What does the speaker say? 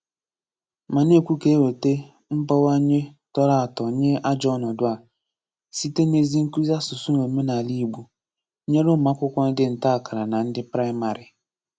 Ma na-ekwù ka e wètá m̀gbanwe tòrò atọ nye àjọ̀ ọnọ̀dụ̀ a, sịté n’ezi nkúzi asụ̀sụ́ na òmènàlà Ìgbò, nyere ụmụ́akwụ́kwọ́ ndị nta-àkàrà na ndị Praìmárì.